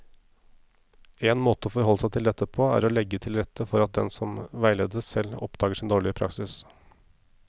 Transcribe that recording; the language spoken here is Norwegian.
En måte å forholde seg til dette på er å legge til rette for at den som veiledes, selv oppdager sin dårlige praksis.